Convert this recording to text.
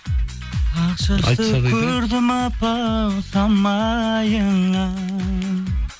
ақ шашты көрдім апа ау самайыңнан